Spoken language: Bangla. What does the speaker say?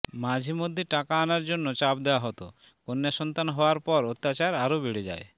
মাঝে মধ্যে টাকা আনার জন্য চাপ দেওয়া হত কন্যাসন্তান হওয়ার পর অত্যাচার আরও বেড়ে যায়